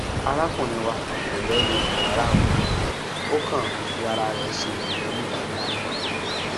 arákùnrin wa kò lẹnu ọrọ rárá ó kàn ń fi ara rẹ ṣe yẹyẹ ní gbangba ni